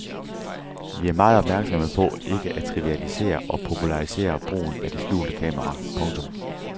Vi er meget opmærksomme på ikke at trivialisere og popularisere brugen af det skjulte kamera. punktum